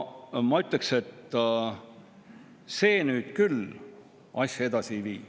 Ma ütleks, et see nüüd küll asja edasi ei vii.